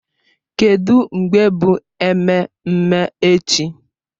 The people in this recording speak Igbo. Kedụ mgbe bụ ememme echichi?